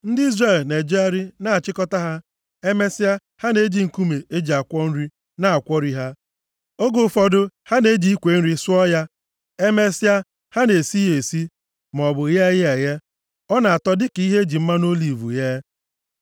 Ndị Izrel na-ejegharị na-achịkọta ha. Emesịa, ha na-eji nkume e ji akwọ nri na-akwọri ha. Oge ụfọdụ, ha na-eji ikwe nri sụọ ya. Emesịa, ha na-esi ya esi, maọbụ ghee ya eghe. Ọ na-atọ dịka ihe e ji mmanụ oliv ghee.